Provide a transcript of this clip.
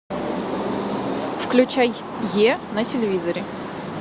включай е на телевизоре